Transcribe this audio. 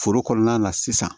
Foro kɔnɔna na sisan